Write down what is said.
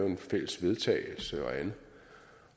en fælles vedtagelse og andet